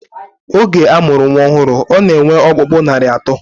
Oge a mụrụ nnwa ọhụrụ, ọ na-enwe ọkpụkpụ narị atọ